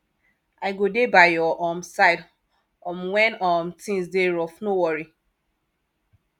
i go dey by your um side um wen um tins dey rough no worry